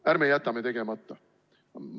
Ärme jätame tegemata!